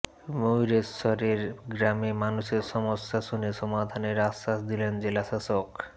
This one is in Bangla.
ময়ূরেশ্বরের গ্রামে মানুষের সমস্যা শুনে সমাধানের আশ্বাস দিলেন জেলাশাসক